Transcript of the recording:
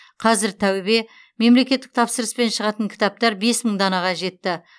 қазір тәубе мемлекеттік тапсырыспен шығатын кітаптар бес мың данаға жетті